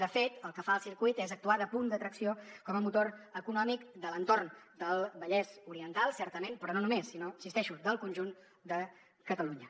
de fet el que fa el circuit és actuar de punt d’atracció com a motor econòmic de l’entorn del vallès oriental certament però no només sinó hi insisteixo del conjunt de catalunya